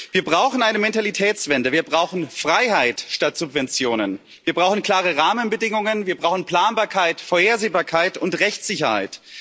Wir brauchen eine Mentalitätswende, wir brauchen Freiheit statt Subventionen, wir brauchen klare Rahmenbedingungen, wir brauchen Planbarkeit, Vorhersehbarkeit und Rechtssicherheit.